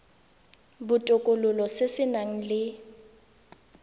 botokololo se se nang le